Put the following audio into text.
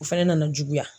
O fɛnɛ nana juguya